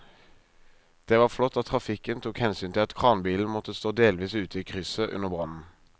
Det var flott at trafikken tok hensyn til at kranbilen måtte stå delvis ute i krysset under brannen.